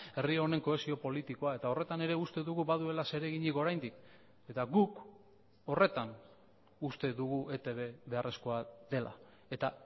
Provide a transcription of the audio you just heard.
herri honen kohesio politikoa eta horretan ere uste dugu baduela zereginik oraindik eta guk horretan uste dugu etb beharrezkoa dela eta